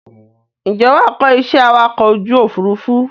Ǹjẹ́ wàá kọ iṣẹ́ awakọ̀ ojú Òfurufú?